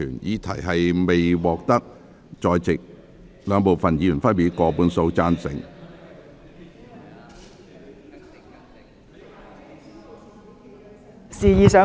議題未獲得兩部分在席議員分別以過半數贊成......